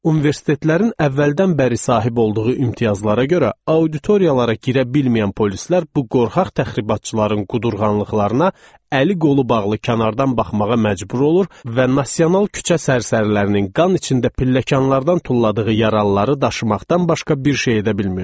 Universitetlərin əvvəldən bəri sahib olduğu imtiyazlara görə auditoriyalara girə bilməyən polislər bu qorxaq təxribatçıların qudurğanlıqlarına əli qolu bağlı kənardan baxmağa məcbur olur və nasional küçə sərsərilərinin qan içində pilləkanlardan tulladığı yaralıları daşımaqdan başqa bir şey edə bilmirdilər.